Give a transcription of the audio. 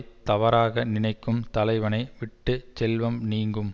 தவறாக நினைக்கும் தலைவனை விட்டு செல்வம் நீங்கும்